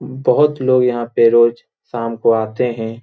बहुत लोग यहाँ पे रोज शाम को आते हैं।